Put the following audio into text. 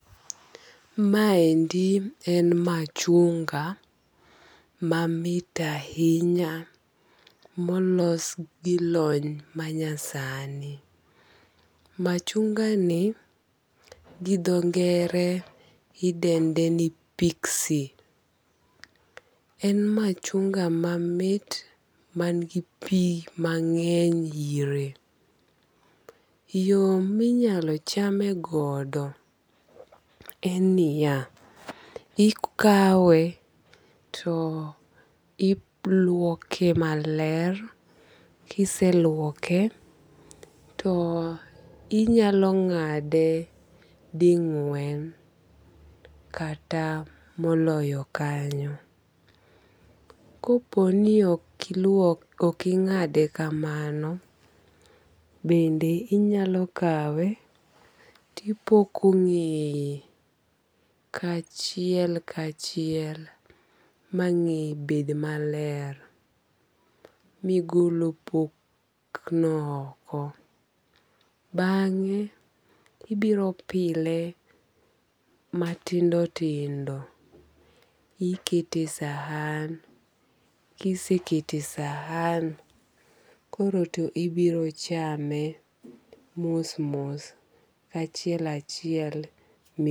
Maendi en machunga mamit ahinya molos gi lony manyasani, machungani gi dho ng'ere idende ni pixie, en machunga mamit man gi pi mang'eny ire, yo minyalo chame godo en ni ya ikawe to iluoke maler kiseluoke to inyalo ng'ade de gwen kata moloyo kanyo, koponi ok ing'ade kamano bende inyalo kawe tipiko ng'eye kachiel kachiel mangeye bed maler migol opokno oko, bange ibiro pile matindo tindo ikete sahan , kisekete sahan to koro ibiro chamae kachiel kachiel ma